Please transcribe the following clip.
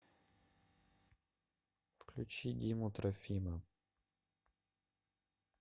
включи диму трофима